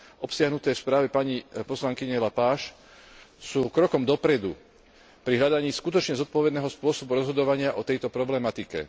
obsiahnuté v správe pani poslankyne Lepage, sú krokom dopredu pri hľadaní skutočne zodpovedného spôsobu rozhodovania o tejto problematike.